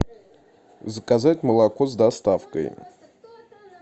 заказать молоко с доставкой